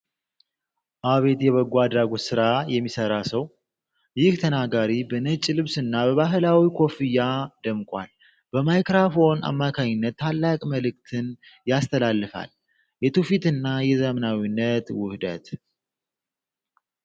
አቤት የበጎ አድራጎት ሰራ የሚሰራ ሰው! ይህ ተናጋሪ በነጭ ልብስና በባሕላዊ ኮፍያ ደምቋል! በማይክራፎን አማካኝነት ታላቅ መልዕክትን ያስተላልፋል! የትውፊትና የዘመናዊነት ውህደት!